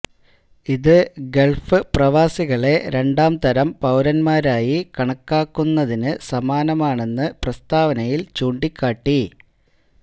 ഇത് ഗൾഫ് പ്രവാസികളെ രണ്ടാം തരം പൌരന്മാരായി കണക്കാണുന്നതിന് സമാനമാണെന്ന് പ്രസ്താവനയിൽ ചൂണ്ടിക്കാട്ടി